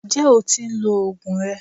Ǹjẹ́ o tí ń lo oògùn rẹ?